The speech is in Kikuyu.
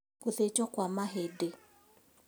Gũthĩnjwo kwa mahĩndĩ